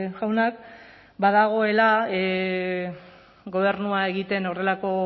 jaunak badagoela gobernua egiten horrelako